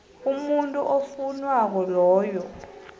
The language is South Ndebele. umuntu ofowunako loyo